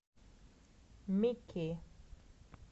мики